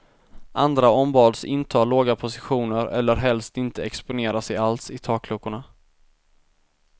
Andra ombads inta låga positioner eller helst inte exponera sig alls i takluckorna.